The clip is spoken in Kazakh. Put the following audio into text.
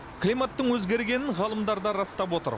климаттың өзгергенін ғалымдар да растап отыр